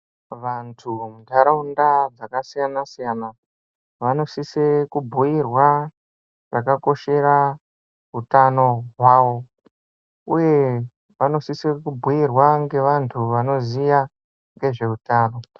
Vantu muntaraunda dzakasiyana siyana vanosise kubhuirwa chakakoshere utano hwavo uye vqnosisa kubhuyirwa ngevantu vanoziya ngezveutano.